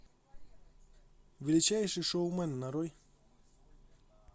величайший шоумен нарой